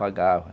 Pagava.